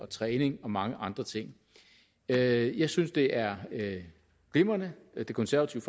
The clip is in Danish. træning og mange andre ting jeg jeg synes det er glimrende og det konservative